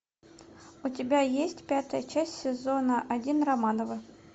у тебя есть пятая часть сезона один романовы